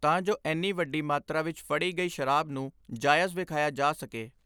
ਤਾਂ ਜੋ ਇਨ੍ਹਾਂ ਵੱਡੀ ਮਾਤਰਾ ਵਿਚ ਫੜੀ ਗਈ ਸ਼ਰਾਬ ਨੂੰ ਜਾਇਜ਼ ਵਿਖਾਇਆ ਜਾ ਸਕੇ।